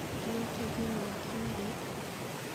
Kĩrĩa kĩngiumĩra kiumia gĩkĩ?